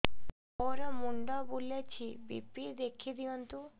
ମୋର ମୁଣ୍ଡ ବୁଲେଛି ବି.ପି ଦେଖି ଦିଅନ୍ତୁ